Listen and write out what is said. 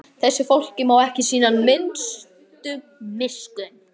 Þessu fólki má ekki sýna nokkra minnstu miskunn!